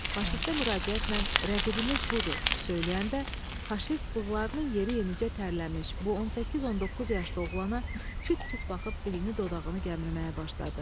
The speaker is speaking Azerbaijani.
Faşistə müraciətlə rəqibiniz budur, söyləyəndə faşist bığlarının yeri yenicə tərləmiş bu 18-19 yaşlı oğlana küt-küt baxıb dilini dodağını gəmirməyə başladı.